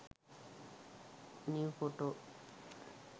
new photo